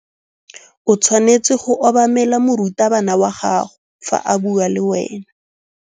O tshwanetse go obamela morutabana wa gago fa a bua le wena.